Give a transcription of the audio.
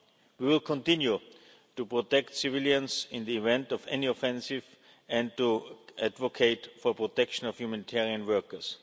We will continue to protect civilians in the event of any offensive and to advocate for the protection of humanitarian workers.